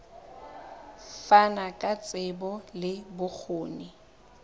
fana ka tsebo le bokgoni